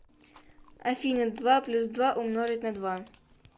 афина два плюс два умножить на два